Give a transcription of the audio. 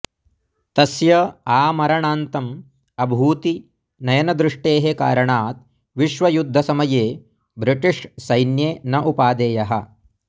तस्य आमरणान्तम् अभूति नयनद्रुष्टेः कारणात् विश्वयुद्धसमये ब्रिटिष् सैन्ये न उपादेयः